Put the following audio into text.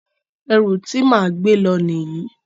Ẹrù ti máa gbé lọ nìyí.